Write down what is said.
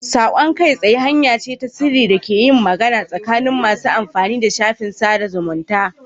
Saƙon kai tsaye hanya ce ta sirri da ake yin magana tsakanin masu amfani da shafin sada zumunta.